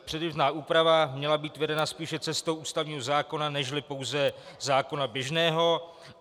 Předběžná úprava měla být vedena spíše cestou ústavního zákona nežli pouze zákona běžného.